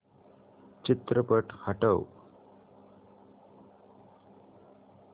चित्रपट हटव